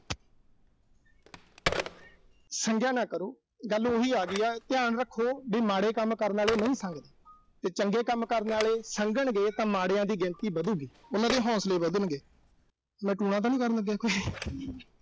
ਸੰਗਿਆ ਨਾ ਕਰੋ। ਗੱਲ ਉਹੀ ਆਗੀ ਆ। ਧਿਆਨ ਰੱਖੋ ਵੀ ਮਾੜੇ ਕੰਮ ਕਰਨ ਆਲੇ ਨਹੀਂ ਸੰਗਦੇ। ਤੇ ਚੰਗੇ ਕੰਮ ਕਰਨ ਆਲੇ ਸੰਗਣ ਗੇ ਤਾਂ ਮਾੜਿਆਂ ਦੀ ਗਿਣਤੀ ਵਧੂਗੀ। ਉਨ੍ਹਾਂ ਦੇ ਹੌਸਲੇ ਵਧਣਗੇ। ਮੈਂ ਟੂਣਾ ਤਾਂ ਨੀਂ ਕਰਨ ਲੱਗਿਆ ਕੋਈ